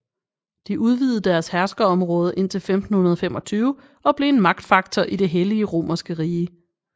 De udvidede deres herskerområde indtil 1525 og blev en magtfaktor i det hellige romerske rige